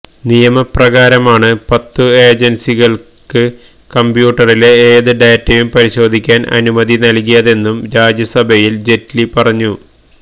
നിയമപ്രകാരമാണ് പത്തുഏജന്സികള്ക്ക് കംപ്യൂട്ടറിലെ ഏത് ഡേറ്റയും പരിശോധിക്കാന് അനുമതി നല്കിയതെന്നും രാജ്യസഭയില് ജെയ്റ്റ്ലി പറഞ്ഞു